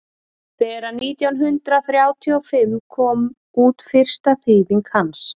þegar nítján hundrað þrjátíu og fimm kom út fyrsta þýðing hans